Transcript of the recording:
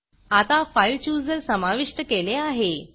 आता फाइल Chooserफाइल चुजर समाविष्ट केले आहे